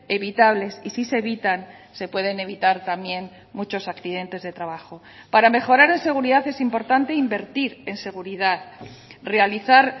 evitables y si se evitan se pueden evitar también muchos accidentes de trabajo para mejorar en seguridad es importante invertir en seguridad realizar